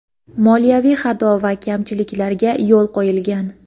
moliyaviy xato va kamchiliklarga yo‘l qo‘yilgan.